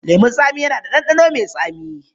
Lemun tsami na da ɗanɗano mai tsami.